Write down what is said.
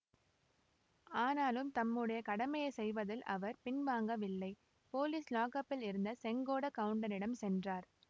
ஆனாலும் தம்முடைய கடமையை செய்வதில் அவர் பின்வாங்கவில்லை போலீஸ் லாக்அப்பில் இருந்த செங்கோடக் கவுண்டனிடம் சென்றார்